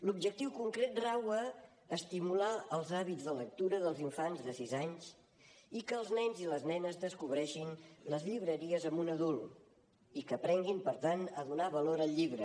l’objectiu concret rau a estimular els hàbits de lectura dels infants de sis anys i que els nens i les nenes descobreixin les llibreries amb un adult i que aprenguin per tant a donar valor al llibre